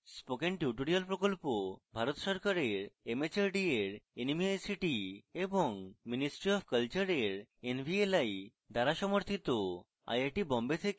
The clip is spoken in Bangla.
spoken tutorial project ভারত সরকারের mhrd এর nmeict এবং ministry অফ কলচারের nvli দ্বারা সমর্থিত